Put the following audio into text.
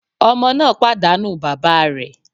Ọmọ náà pàdánù bàbá rẹ̀.